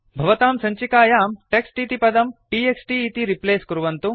भवतां सञ्चिकायां टेक्स्ट् इति पदं t x t इति रिप्लेस् कुर्वन्तु